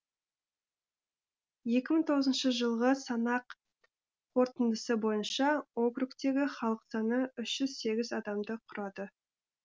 екі мың тоғызыншы жылғы санақ қорытындысы бойынша округтегі халық саны үш жүз сегіз адамды құрады